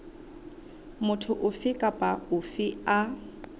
motho ofe kapa ofe a